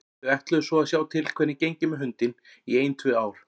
Þau ætluðu svo að sjá til hvernig gengi með hundinn í ein tvö ár.